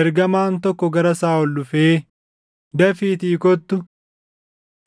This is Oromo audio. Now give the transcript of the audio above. ergamaan tokko gara Saaʼol dhufee, “Dafiitii kottu!